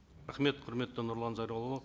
рахмет құрметті нұрлан зайроллаұлы